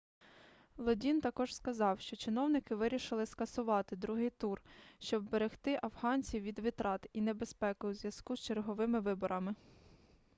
лодін також сказав що чиновники вирішили скасувати другий тур щоб вберегти афганців від витрат і небезпеки у зв'язку з черговими виборами